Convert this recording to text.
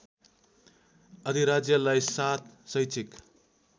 अधिराज्यलाई ७ शैक्षिक